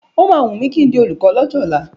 O máa wùn mí kí n di olùkọ́ lọ́jọ́ ọ̀la.